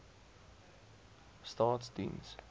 staatsdiens